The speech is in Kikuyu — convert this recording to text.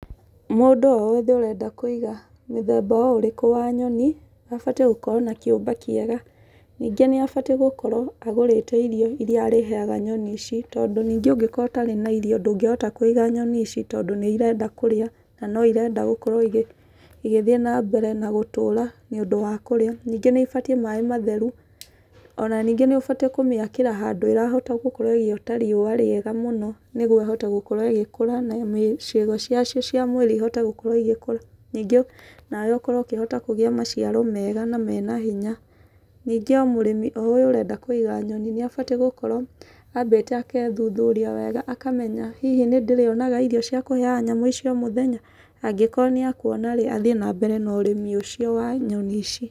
Mũndũ o wothe ũrenda kũiga mĩthemba o ũrĩkũ wa nyoni, abatiĩ gũkorwo na kĩũmba kĩega. Nyingĩ nĩ abatiĩ gũkorwo agũrĩte irio irĩa arĩheaga nyoni ici. Tondũ ningĩ ũngĩkorwo ũtarĩ na irio, ndũngĩhota kũiga nyoni ici, tondũ nĩ irenda kũrĩa, na no irenda gũkorwo igĩthiĩ na mbere na gũtũra, nĩ ũndũ wa kũrĩa. Ningĩ nĩ ibatiĩ maĩ matheru. Ona ningĩ nĩ ũbatiĩ kũmĩakĩra handũ ĩrahota gũkorwo ĩgĩota riũa rĩega mũno nĩguo ĩhote gũkorwo ĩgĩkũra na ciĩga cia cio cia mwĩrĩ ihote gũkorwo igĩkũra. Ningĩ nawe ũkorwo ũkĩhota kũgĩa maciaro mega na mena hinya. Ningĩ o mũrĩmi o ũyũ ũrenda kũiga nyoni nĩ abatiĩ gũkorwo ambĩte akethuthuria wega, akamenya hihi nĩ ndĩrĩonaga irio cia kũheaga nyamũ icio o mũthenya? Angĩkorwo nĩ akuona rĩ, athiĩ na mbere na ũrĩmi ũcio wa nyoni ici.